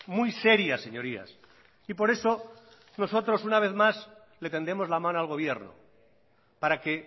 muy seria señorías y por eso nosotros una vez más le tendemos la mano al gobierno para que